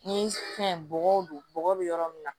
Ni fɛn bɔgɔ don bɔgɔ bɛ yɔrɔ min na